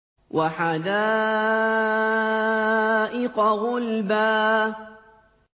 وَحَدَائِقَ غُلْبًا